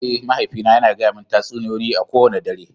Eh, mahaifina yana gaya mani tatsuniyoyi kowane dare.